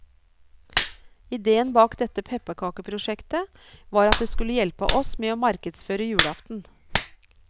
Ideen bak dette pepperkakeprosjektet var at det skulle hjelpe oss med å markedsføre julaften.